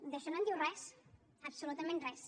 d’això no en diu res absolutament res